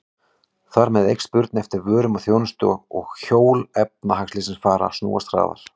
Þar með eykst spurn eftir vörum og þjónustu og hjól efnahagslífsins fara að snúast hraðar.